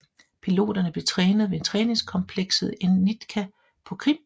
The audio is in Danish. Piloterne blev trænet ved træningskomplekset NITKA på Krim